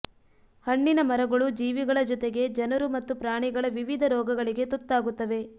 ಹಣ್ಣಿನ ಮರಗಳು ಜೀವಿಗಳ ಜೊತೆಗೆ ಜನರು ಮತ್ತು ಪ್ರಾಣಿಗಳ ವಿವಿಧ ರೋಗಗಳಿಗೆ ತುತ್ತಾಗುತ್ತವೆ